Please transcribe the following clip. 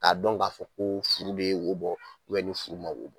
K'a dɔn k'a fɔ ko furu bɛ wo bɔ ni furu ma wo bɔ